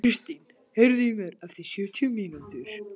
Kristin, heyrðu í mér eftir sjötíu mínútur.